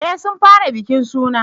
Eh sun fara bikin suna